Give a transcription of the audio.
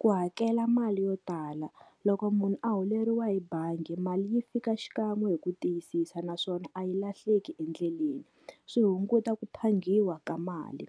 Ku hakela mali yo tala, loko munhu a holeriwa hi bangi mali yi fika xikan'we hi ku tiyisisa naswona a yi lahleki endleleni. Swi hunguta ku phangiwa ka mali,